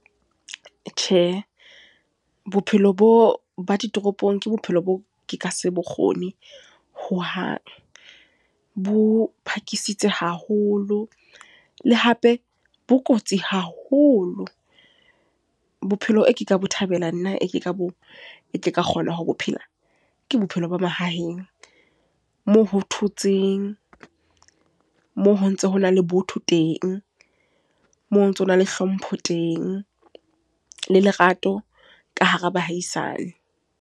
Tjhe, bophelo bo ba ditoropong ke bophelo bo ke ka se bokgone, ho hang. Bo phakisitse haholo. Le hape bo kotsi haholo. Bophelo e ka bo thabela nna, e ke ka kgona ho bo phela. Ke bophelo ba mahaheng. Moo ho thotseng, moo ho ntso ho na le botho teng, moo ho ntsona le hlompho teng, le lerato ka hara bahaisane.